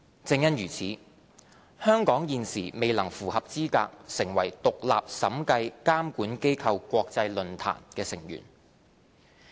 正因如此，香港現時未能符合資格成為獨立審計監管機構國際論壇的成員。